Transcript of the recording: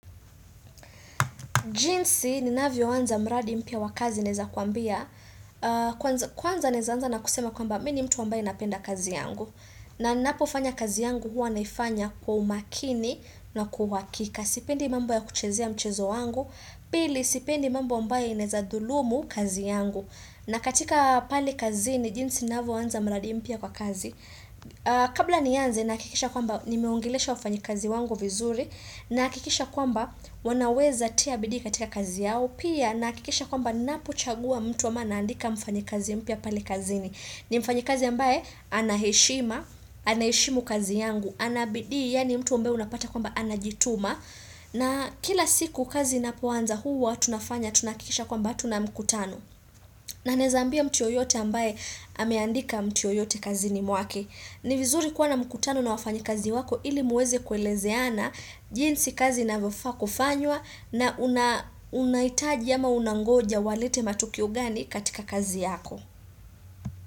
Jinsi ni navyo anza mradi mpya wakazi neweza kukwambia Kwanza naweza anza na kusema kwamba mini mtu ambae napenda kazi yangu na napofanya kazi yangu huwa naifanya kwa umakini na kwauhakika Sipendi mambo ya kuchezea mchezo wangu Pili sipendi mambo ambayo yanaweza zulumu kazi yangu na katika pale kazini jinsi navyo anza mradi mpya kwa kazi Kabla nianze nahakikisha kwamba nimeongelesha wafanya kazi wangu vizuri na hakikisha kwamba wanaweza kutia bidi katika kazi yao Pia na hakikisha kwamba napochagua mtu ama naandika mfanyakazi mpya palekazini ni mfanyakazi ambaye anaheshima, anaheshimu kazi yangu Anabidi yaani mtu ambae unapata kwamba anajituma na kila siku kazi inapoanza huwa tunafanya tunakikisha kwamba tunamkutano na wezaambia mtuyoyote ambaye ameandika mtuyoyote kazini mwake ni vizuri kuwa na mkutano na wafanyakazi wako ili muweze kuelezeana jinsi kazi inavo faa kufanywa na unahitaji ama unangoja walete matokeo gani katika kazi yako.